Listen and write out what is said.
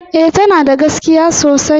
E, tana da gaskiya sosai